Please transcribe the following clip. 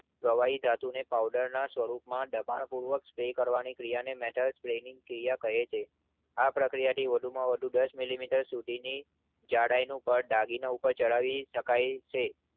પ્રવાહી ધાતુને પાઉડરના સ્વરૂપમાં દબાણપૂર્વક સ્પ્રે કરવાની ક્રિયાને Metal spraying પ્રક્રિયા કહે છે. આ પ્રક્રિયાથી વધુમાં વધુ દસ મિલિમીટર સુધીની જાડાઈનું પડ દાગીના ઉપર ચડાવી શકાય છે.